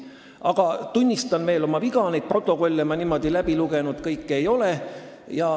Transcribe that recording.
Aga tunnistan veel kord oma viga, neid protokolle ma kõiki läbi lugenud ei ole.